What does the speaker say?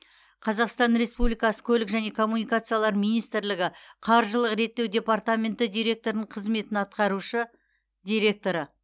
қазақстан республикасы көлік және коммуникациялар министрлігі қаржылық реттеу департаменті директорының қызметін атқарушы директоры